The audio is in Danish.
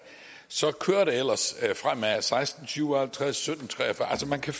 så kører det ellers fremad klokken seksten syv og halvtreds klokken sytten tre og fyrre altså man kan